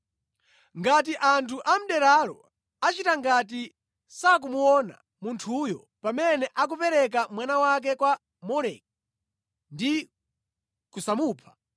Ngati anthu a mʼderalo achita ngati sakumuona munthuyo pamene akupereka mwana wake kwa Moleki ndi kusamupha,